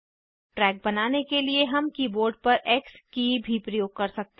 track बनाने के लिए हम कीबोर्ड पर एक्स की भी प्रयोग कर सकते हैं